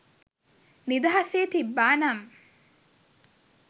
නිදහසේ තිබ්බානම්